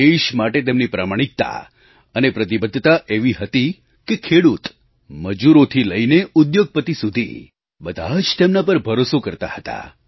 દેશ માટે તેમની પ્રમાણિકતા અને પ્રતિબદ્ધતા એવી હતી કે ખેડૂત મજૂરોથી લઈને ઉદ્યોગપતિ સુધી બધાં જ તેમના પર ભરોસો કરતા હતા